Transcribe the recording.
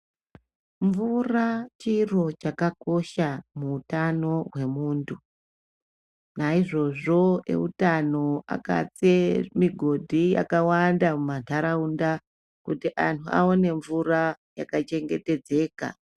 Mvura chiro chakakosha muutano hwemuntu naizvozvo eutano akatse mugodhi yakawanda muntaraunda kuti anhu awone mvura yaka chengetedzeka.